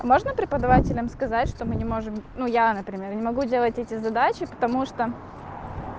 можно преподавателям сказать что мы не можем ну я например не могу делать эти задачи потому что